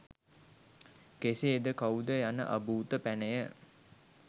කෙසේද කවුද යන අභූත පැනය